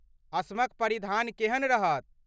असमक परिधान केहन रहत?